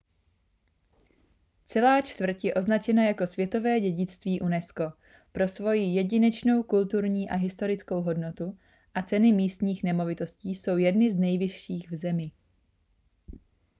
celá čtvrť je označena jako světové dědictví unesco pro svoji jedinečnou kulturní a historickou hodnotu a ceny místních nemovitostí jsou jedny z nejvyšších v zemi